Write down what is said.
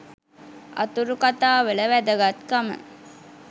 අතුරු කතාවල වැදගත්කම